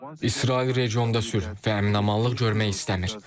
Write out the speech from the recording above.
İsrail regionda sülh və əmin-amanlıq görmək istəmir.